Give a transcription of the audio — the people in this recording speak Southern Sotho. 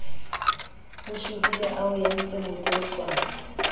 o shobile a o entsemotloutlwana